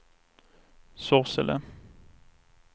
Sorsele